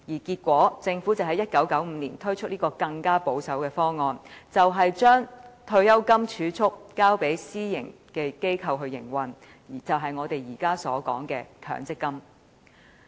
結果，政府在1995年推出一個更保守的方案，將退休金儲蓄交予私營機構營運，就是我們現時所說的強積金計劃。